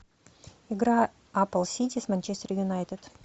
игра апл сити с манчестер юнайтед